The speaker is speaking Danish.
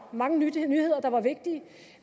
mange nyheder der var vigtige